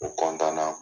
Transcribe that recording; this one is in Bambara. U na